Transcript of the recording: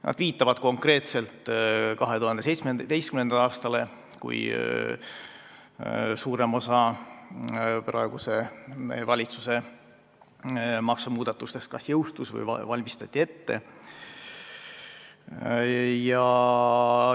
Nad viitavad konkreetselt 2017. aastale, kui suurem osa praeguse valitsuse maksumuudatustest kas jõustus või valmistati ette.